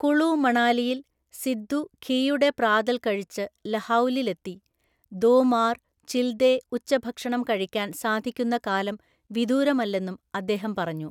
കുളു മണാലിയില് സിദ്ദു ഘീയുടെ പ്രാതല് കഴിച്ച് ലഹൗലിലെത്തി ദോ മാര്, ചില്ദേ ഉച്ചഭക്ഷണം കഴിക്കാന് സാധിക്കുന്ന കാലം വിദൂരമല്ലെന്നും അദ്ദേഹം പറഞ്ഞു.